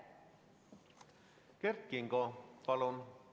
Kert Kingo, palun!